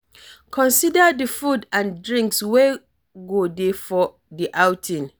Consider di food and drinks wey go dey for di outing